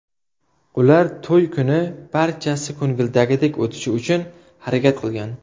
Ular to‘y kuni barchasi ko‘ngildagidek o‘tishi uchun harakat qilgan.